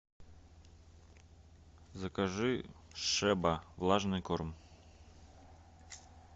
закажи шеба влажный корм